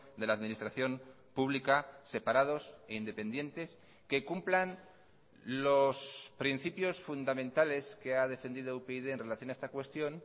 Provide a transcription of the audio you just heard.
de la administración pública separados e independientes que cumplan los principios fundamentales que ha defendido upyd en relación a esta cuestión